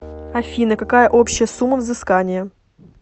афина какая общая сумма взыскания